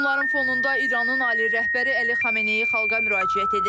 Hücumların fonunda İranın ali rəhbəri Əli Xamneyi xalqa müraciət edib.